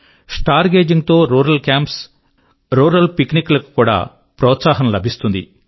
star gazing తో rural camps మరియు rural picnic లకు కూడా ప్రోత్సాహం లభిస్తుంది